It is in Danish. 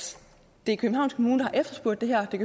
det er københavns kommune der har efterspurgt det her det